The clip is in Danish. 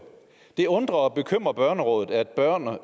det undrer og bekymrer børnerådet at børn og